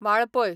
Valpoi